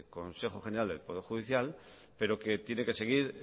consejo general del poder judicial pero que tiene que seguir